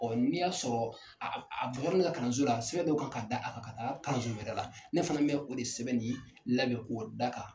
n'i y'a sɔrɔ a a bɔlen ne ka kanso la sɛbɛn dɔw kan ka da a kan ka taa kanlanso wɛrɛ la ne fana bɛ o de sɛbɛn nin labɛn k'o d'a kan.